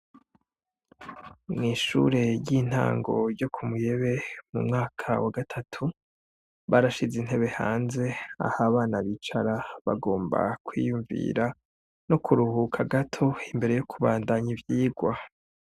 Mw'ishure ry'intango ryo ku Muyebe mu mwaka wa gatatu barashize intebe hanze aho abana bicara bagomba kwiyumvira no kuruhuka gato imbere yo kubandanya ivyigwa.